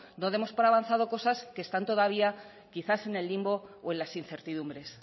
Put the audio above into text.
no demos por avanzado cosas que están todavía quizás en el limbo o en las incertidumbres